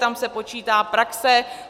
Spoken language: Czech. Tam se počítá praxe.